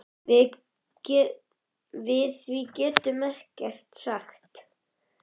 Við því gætu þau ekkert sagt.